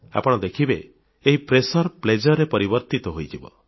ଆପଣ ଦେଖିବେ ଏହି ମାନସିକ ଚାପ ଆନନ୍ଦରେ ପରିବର୍ତ୍ତିତ ହୋଇଯିବ